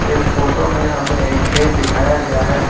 इस फोटो में हमें एक खेत दिखाया गया है।